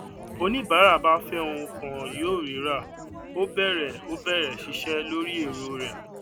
oníbàárà bá fé ohun kan yóò rírà ó bẹrẹ ó bẹrẹ ṣiṣẹ lórí èrò rẹ